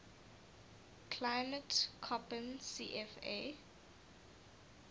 climate koppen cfa